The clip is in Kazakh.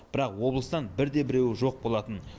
бірақ облыстан бірде біреуі жоқ болатын